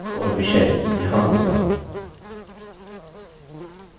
हमारे पास प्रेषक और विषय यहाँ होगा